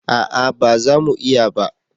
A'a ba za mu iya ba